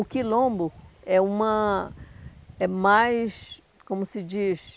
O Quilombo é uma é mais, como se diz,